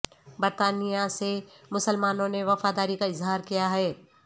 برطانیہ سے مسلمانوں نے وفاداری کا اظہار کیا ہے